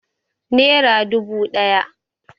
Nera dubu ɗaya